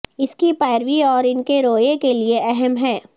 اس کی پیروی اور ان کے رویے کے لئے اہم ہے